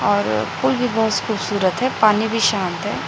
और फूल भी बहोस खूबसूरत है पानी भी शांत है।